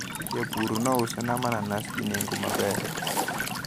Japur nousona mananas gi nengo maber.